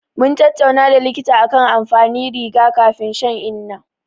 Mun tattauna da likita akan amfanin riga-kafin shan inna.